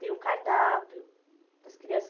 Tem o cardápio das crianças.